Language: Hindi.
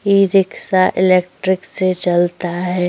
ई-रिक्शा इलेक्ट्रिक से चलता है।